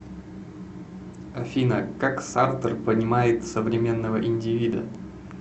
афина как сартр понимает современного индивида